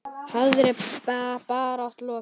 Harðri baráttu lokið.